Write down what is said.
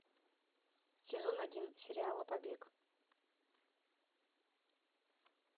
сезон один сериала побег